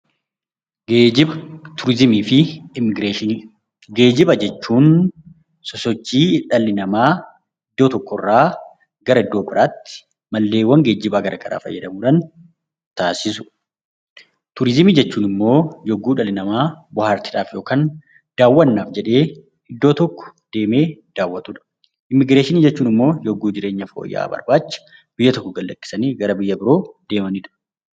Geejiba turizimii fi immigireeshinii Geejiba jechuun sosochii ilmi namaa iddoo tokko irraa gara iddoo biraatti Meeshaalee geejibaa garaagaraa fayyadamuudhaan taasisudha. Turizimii jechuun immoo yemmuu dhalli namaa bohaartiidhaaf yookiin bashannanaaf iddoo tokko daawwatudha. Immigireeshinii jechuun immoo yemmuu jireenya fooyya'aa biyya tokko gad lakkisanii biyya biroo deemanidha.